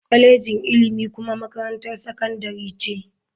Kwalejin ilimi kuma makarantar sakandare ce.